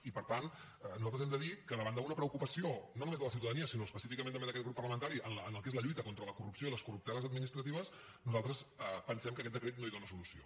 i per tant nosaltres hem de dir que davant d’una preocupació no només de la ciutadania sinó específicament també d’aquest grup parlamentari en el que és la lluita contra la corrupció i les corrupteles administratives nosaltres pensem que aquest decret no hi dóna solució